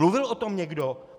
Mluvil o tom někdo?